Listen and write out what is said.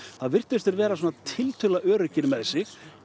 virtust vera svona tiltölulega öruggir með sig